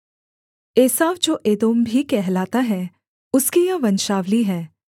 एसाव जो एदोम भी कहलाता है उसकी यह वंशावली है